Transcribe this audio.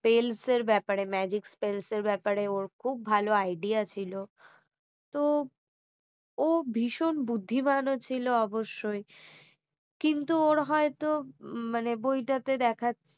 spells এর ব্যাপারে magic spells এর ব্যাপারে ওর খুব ভালো idea ছিল তো ও ভীষণ বুদ্ধিমানও ছিল অবশ্যই কিন্তু ওর হয়তো মানে বইটাতে দেখাচ্ছে